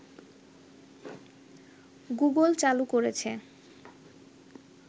Google চালু করেছে